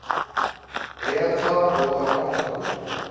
ETA boðar vopnahlé